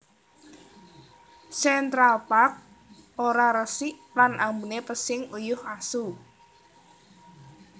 Central Park ora resik lan ambune pesing uyuh asu